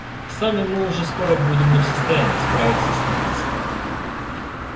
сами мы уже скоро будем не в состоянии справиться с натиском